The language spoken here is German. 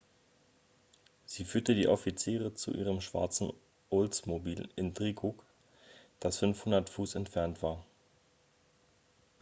sie führte die offiziere zu ihrem schwarzen oldsmobile intrigue das 500 fuß entfernt war